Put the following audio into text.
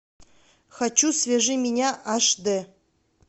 хочу свяжи меня аш дэ